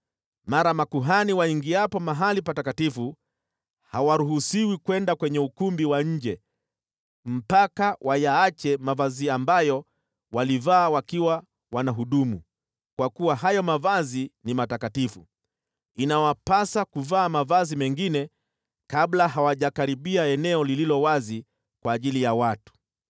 Mara makuhani waingiapo mahali patakatifu, hawaruhusiwi kwenda kwenye ukumbi wa nje mpaka wayaache mavazi ambayo walivaa wakiwa wanahudumu, kwa kuwa hayo mavazi ni matakatifu. Inawapasa kuvaa mavazi mengine kabla hawajakaribia eneo lililo wazi kwa ajili ya watu.”